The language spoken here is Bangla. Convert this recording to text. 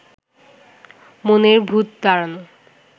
মনের ভূত তাড়ান